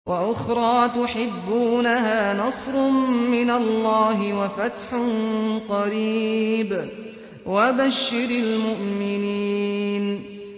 وَأُخْرَىٰ تُحِبُّونَهَا ۖ نَصْرٌ مِّنَ اللَّهِ وَفَتْحٌ قَرِيبٌ ۗ وَبَشِّرِ الْمُؤْمِنِينَ